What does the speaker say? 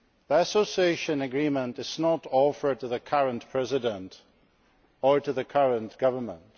The Association Agreement is not being offered to the current President or to the current government.